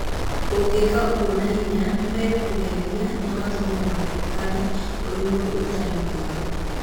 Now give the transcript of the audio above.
Ũngĩka ũguo na hinya, nĩ megũkũheenia na matũme woneke ũrĩ mũndũ ũtarĩ mwega.